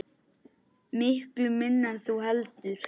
Miklu minna en þú heldur.